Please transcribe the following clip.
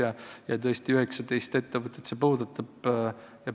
Tõesti, see puudutab 19 ettevõtet.